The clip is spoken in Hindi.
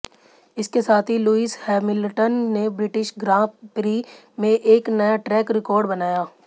इसके साथ ही लुईस हैमिल्टन ने ब्रिटिश ग्रां प्री में एक नया ट्रैक रिकॉर्ड बनाया